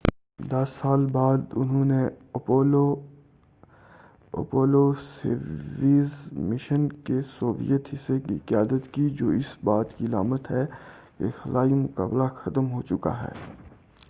دس سال بعد انہوں نے اپولو سویوز مشن کے سوویت حصے کی قیادت کی جو اس بات کی علامت ہے کہ خلائی مقابلہ ختم ہو چکا ہے